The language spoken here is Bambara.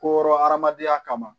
Koro hadamadenya kama